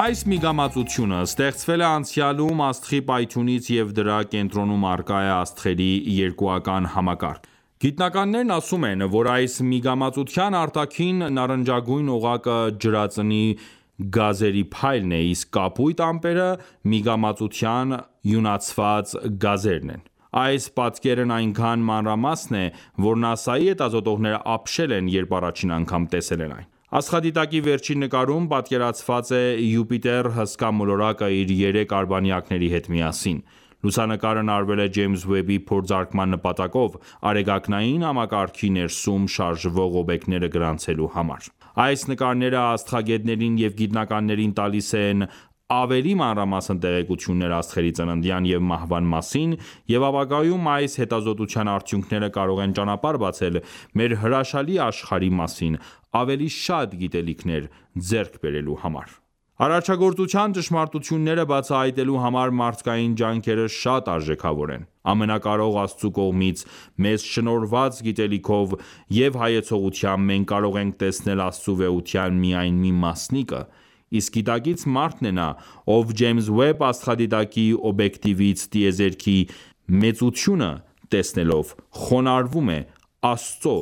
Այս միգամածությունը ստեղծվել է անցյալում աստղի պայթյունից և դրա կենտրոնում առկա է աստղերի երկուական համակարգ: Գիտնականներն ասում են, որ այս միգամածության արտաքին նարնջագույն օղակը ջրածնի գազերի փայլն է, իսկ կապույտ ամպերը միգամածության իոնացված գազերն են: Այս պատկերն այնքան մանրամասն է, որ ՆԱՍԱ-ի հետազոտողները ապշել են, երբ առաջին անգամ տեսել են այն: Աստղադիտակի վերջին նկարում պատկերված է Յուպիտեր հսկա մոլորակը իր երեք արբանյակների հետ միասին: Լուսանկարն արվել է Ջեյմս Ուեբի փորձարկման նպատակով, արեգակնային համակարգի ներսում շարժվող օբյեկտները գրանցելու համար: Այս նկարները աստղագետներին և գիտնականներին տալիս են ավելի մանրամասն տեղեկություններ աստղերի ծննդյան և մահվան մասին, և ապագայում այս հետազոտության արդյունքները կարող են ճանապարհ բացել մեր հրաշալի աշխարհի մասին ավելի շատ գիտելիքներ ձեռք բերելու համար: Արարչագործության ճշմարտությունները բացահայտելու համար մարդկային ջանքերը շատ արժեքավոր են: Ամենակարող Աստծու կողմից մեզ շնորհված գիտելիքով և հայեցողությամբ մենք կարող ենք տեսնել Աստծու վեհության միայն մի մասնիկը, իսկ գիտակից մարդն է նա, ով Ջեյմս Ուեբ աստղադիտակի օբյեկտվից տիեզերքի վեծությունը տեսնելով խոնարհվում է Աստծո